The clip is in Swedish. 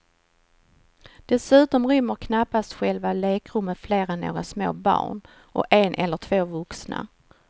Dessutom rymmer knappast själva lekrummet fler än några små barn och en eller två vuxna.